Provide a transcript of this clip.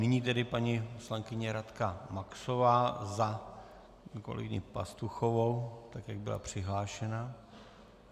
Nyní tedy paní poslankyně Radka Maxová za kolegyni Pastuchovou, tak jak byla přihlášena.